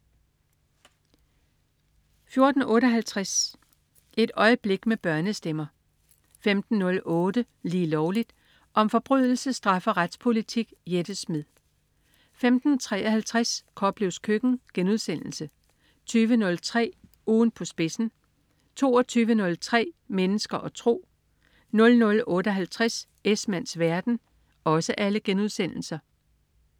14.58 Et øjeblik med børnestemmer 15.08 Lige Lovligt. Om forbrydelse, straf og retspolitik. Jette Smed 15.53 Koplevs Køkken* 20.03 Ugen på spidsen* 22.03 Mennesker og tro* 00.58 Esmanns verden*